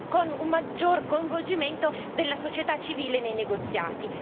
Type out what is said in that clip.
con un maggior coinvolgimento della società civile nei negoziati.